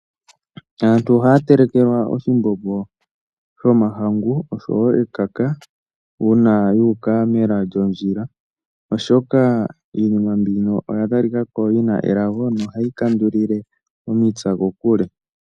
Aantu oha ya telekelwa oshimbombo shomahangu oshowo ekaka uuna yuuka mela lyondjila oshoka iinima mbino oya talikako yi na elago noha yi kandulile omipya kokule.